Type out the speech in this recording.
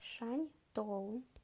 шаньтоу